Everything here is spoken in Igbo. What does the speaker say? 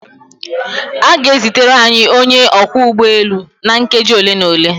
A ga-ezitere anyị onye ọkwọ ụgbọelu na nkeji ole na ole.